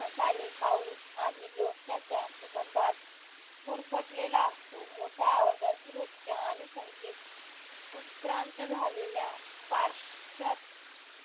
मसाले, पाऊस आणि लोणच्याच्या सुगंधात गुरफटलेला असतो मोठ्या आवाजात नृत्य आणि संगीत उत्क्रांत झालेल्या पारषात